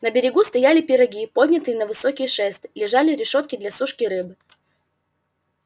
на берегу стояли пироги поднятые на высокие шесты лежали решётки для сушки рыбы